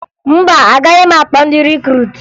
Mba, agaghị m akpọ ndị rikruutu